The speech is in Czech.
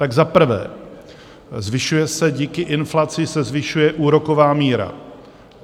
Tak za prvé, zvyšuje se, díky inflaci se zvyšuje úroková míra.